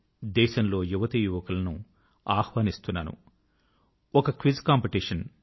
దేశంలో యువతీ యువకులను ఆహ్వానిస్తున్నాను ఒక క్విజ్ కాంపిటీషన్